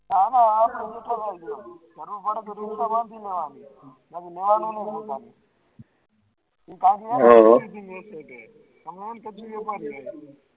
હા હા હા